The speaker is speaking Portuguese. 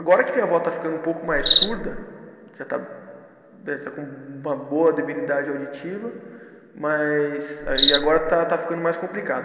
Agora que minha avó está ficando um pouco mais surda, já está com uma boa debilidade auditiva, mas aí agora está está ficando mais complicado.